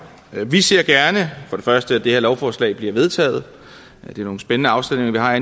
vi ser gerne for først at det her lovforslag bliver vedtaget det er nogle spændende afstemninger vi har